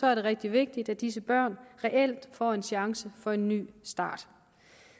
er det rigtig vigtigt at disse børn reelt får en chance for en ny start